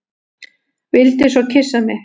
Vildi svo kyssa mig.